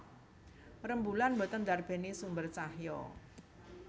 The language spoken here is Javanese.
Rembulan boten ndarbéni sumber cahya